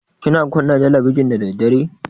Kina kunna talabijin da daddare?